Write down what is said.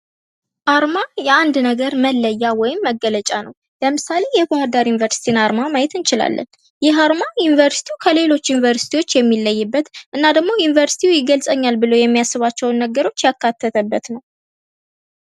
አርማ የአንድ ነገር መለያ ወይም መገለጫ ነው። ለምሳሌ የባህር ዳር ዩኒቨርስቲን አርማ ማየት እንችላለን። ይህ አርማ ዩኒቨርስቲው ከሌሎች ዩኒቨርሲቲዎች የሚለይበት እና ደግሞ ዩኒቨርስቲው ይገልጸኛል ብሎ የሚያስባቸውን ነገሮች ያካተተበት ነው።